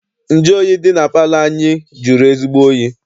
Nju oyi dị na palọ anyị jụrụ ezigbo oyi.